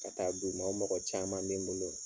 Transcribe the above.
Ka taa d'u ma o mɔgɔ caman bɛ n bolo.